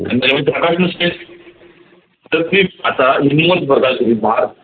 नसते